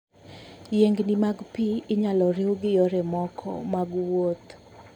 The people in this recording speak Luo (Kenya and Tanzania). Yiengni mag pi inyalo riw gi yore mamoko mag wuoth.